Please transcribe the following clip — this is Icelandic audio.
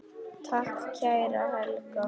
Takk, kæra Helga.